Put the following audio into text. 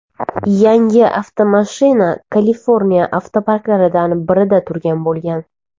Yangi avtomashina Kaliforniya avtoparklaridan birida turgan bo‘lgan.